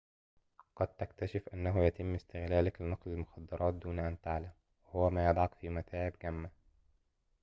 قد تكتشف أنه يتم استغلالك لنقل المخدرات دون أن تعلم وهو ما يضعك في متاعبٍ جمة